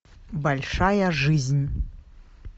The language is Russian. большая жизнь